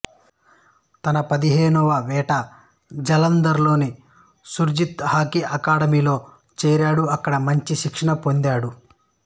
తన పదిహేనవ ఏట జలందర్లోని సుర్జీత్ హాకీ అకాడెమి లో చేరాడు అక్కడ మంచి శిక్షణ పొందాడు